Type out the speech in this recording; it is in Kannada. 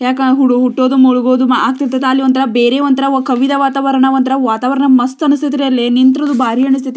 ಯಾಕೆ ಹುಟ್ಟೋದು ಮುಳುಗೋದು ಮಾಡುತಿರ್ತಾರೆ ಅಲ್ಲಿ ಒಂದು ತರ ಬೇರೆ ಒಂದು ಕವಿದ ವಾತಾವರಣ ಒಂತರ ವಾತಾವರಣ ಮಸ್ತ್ ಅನಿಸ್ತದ ರೀ ಅಲ್ಲಿ ನಿಂತ್ರು ಬಾರಿ ಅನಿಸ್ತೈತಿ.